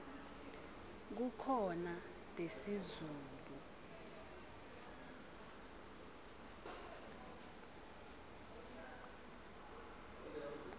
kukhona tesizulu